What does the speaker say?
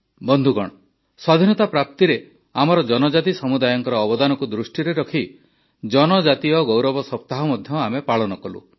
ବନ୍ଧୁଗଣ ସ୍ୱାଧୀନତା ପ୍ରାପ୍ତିରେ ଆମର ଜନଜାତି ସମୁଦାୟଙ୍କ ଅବଦାନକୁ ଦୃଷ୍ଟିରେ ରଖି ଜନଜାତୀୟ ଗୌରବ ସପ୍ତାହ ମଧ୍ୟ ଆମେ ପାଳନ କଲୁ